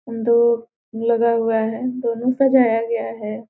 दो लगा हुआ है | दोनों सजाया गया है |